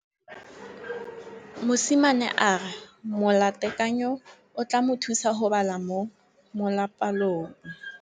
Mosimane a re molatekanyô o tla mo thusa go bala mo molapalong.